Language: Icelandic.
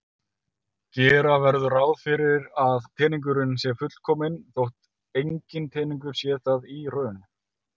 Gera verður ráð fyrir að teningurinn sé fullkominn þótt enginn teningur sé það í raun.